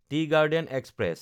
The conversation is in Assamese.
T garden express